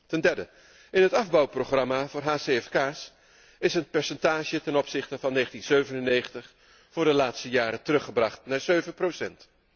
Ten derde, in het afbouwprogramma voor hcfk's is het percentage ten opzichte van 1997 voor de laatste jaren teruggebracht naar 7 procent.